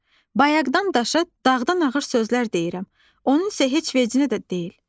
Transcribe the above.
Bayaqdan daşa dağdan ağır sözlər deyirəm, onun isə heç vecinə də deyil.